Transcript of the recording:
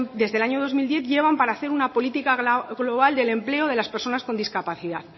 desde el año dos mil diez llevan para hacer una política global del empleo de las personas con discapacidad